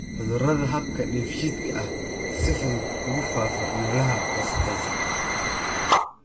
Cudurada habka dheefshiidka ayaa si fudud ugu faafa meelaha wasakhaysan.